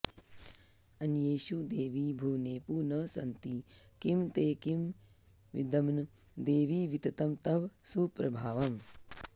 अन्येषु देवि भुवनेपु न सन्ति किं ते किं विद्म देवि विततं तव सुप्रभावम्